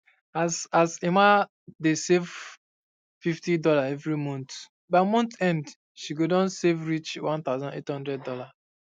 as as um emma dey um save 50 dollar every month by month end she go doh save reach um 18000 dollars